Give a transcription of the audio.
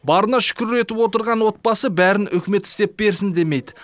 барына шүкір етіп отырған отбасы бәрін үкімет істеп берсін демейді